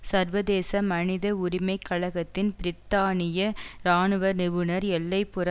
சர்வதேச மனித உரிமை கழகத்தின் பிரித்தானிய இராணுவ நிபுணர் எல்லை புற